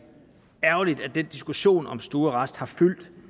ærgerligt at den diskussion om stuearrest har fyldt